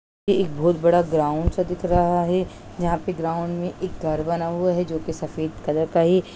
ये एक बहुत बड़ा ग्राउंड सा दिख रहा है जहाँ पे ग्राउंड में एक घर बना हुआ है जो की सफेद कलर का है।